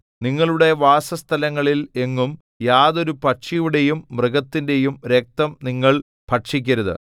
നിങ്ങളുടെ വാസസ്ഥലങ്ങളിൽ എങ്ങും യാതൊരു പക്ഷിയുടെയും മൃഗത്തിന്റെയും രക്തം നിങ്ങൾ ഭക്ഷിക്കരുത്